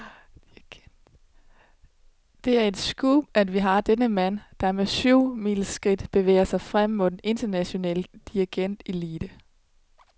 Det er et scoop, at vi har denne mand, der med syvmileskridt bevæger sig frem mod den internationale dirigentelite.